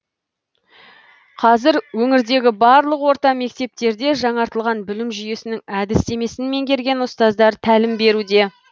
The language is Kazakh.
қазір өңірдегі барлық орта мектептерде жаңартылған білім жүйесінің әдістемесін меңгерген ұзтаздар тәлім беруде